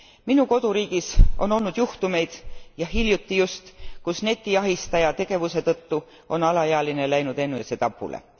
Minu koduriigis on olnud juhtumeid, ja hiljuti just, kus netiahistaja tegevuse tõttu on alaealine läinud enesetapule.